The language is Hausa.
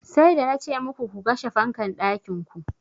Sai da nace muku ku kashe fankan ɗakin ku.